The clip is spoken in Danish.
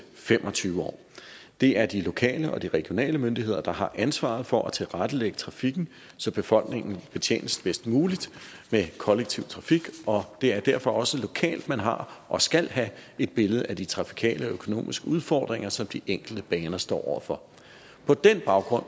fem og tyve år det er de lokale og de regionale myndigheder der har ansvaret for at tilrettelægge trafikken så befolkningen betjenes bedst muligt med kollektiv trafik det er derfor også lokalt man har og skal have et billede af de trafikale og økonomiske udfordringer som de enkelte baner står over for på den baggrund